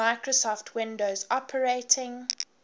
microsoft windows operating